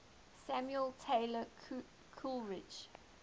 samuel taylor coleridge